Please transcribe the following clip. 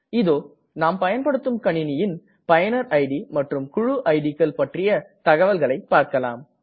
இதோ நாம் பயன்படுத்தும் கணினியின் பயனர் இட் மற்றும் குழு இட் கள் பற்றிய தகவல்களை பார்க்கலாம்